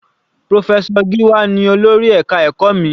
Professor Giwa ní olórí ẹka ẹ̀kọ́ mi.